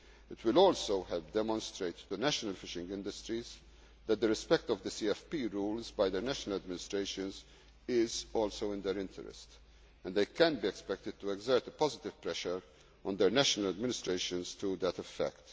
on Member States. It will also help demonstrate to national fishing industries that the respect of the CFP rules by their national administrations is also in their interest, and they can be expected to exert a positive pressure on their national administrations